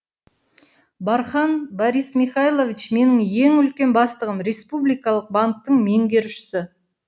бархан борис михайлович менің ең үлкен бастығым республикалық банктың меңгерушісі